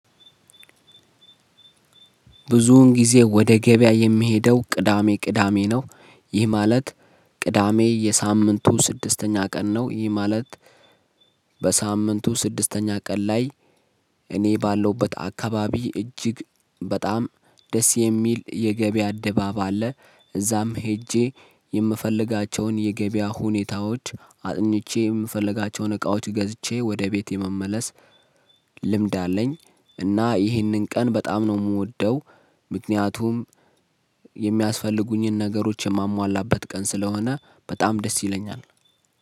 ብዙውን ጊዜ ወደ ገበያ የምሄደው ቅዳሜ ቅዳሜ ነው ይህ ማለት ቅዳሜ የሳምንቱ ስድስተኛ ቀን ነው ይህ ማለት። በሳምንቱ ስድስተኛ ቀን ላይ እኔ ባለሁበት አካባቢ እጅግ በጣም ደስ የሚል የገበያ ድባብ አለ። እዛም ሄጄ የምፈልጋቸውን የገበያ ሁኔታዎች አጥንቼ የምፈልጋቸውን እቃዎች ገዝቼ ወደ ቤቴ መመለስ። ልምድ አለኝ እና ይህንን ቀን በጣም ነው የምወደው። ምክንያቱም የሚያስፈልጉኝን ነገሮች የማሟላበት ቀን ስለሆነ በጣም ደስ ይለኛል።